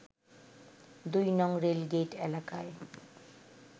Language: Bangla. ২ নং রেলগেইট এলাকায়